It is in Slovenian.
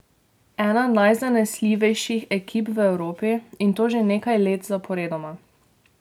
Ena najzanesljivejših ekip v Evropi, in to že nekaj let zaporedoma.